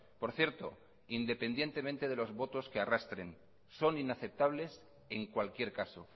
por cierto independientemente de los votos que arrastren son inaceptables en cualquier caso